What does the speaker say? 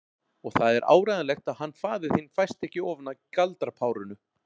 Og það er áreiðanlegt að hann faðir þinn fæst ekki ofan af galdrapárinu.